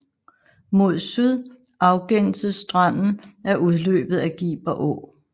Mod syd afgænses stranden af udløbet af Giber Å